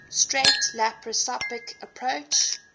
straight laparoscopic approach